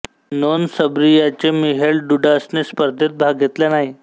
नोंद सर्बियाच्या मिहेल डुडासने स्पर्धेत भाग घेतला नाही